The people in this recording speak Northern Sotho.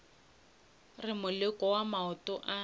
re moleko wa maoto a